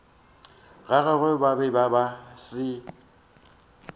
gagwe ba be ba se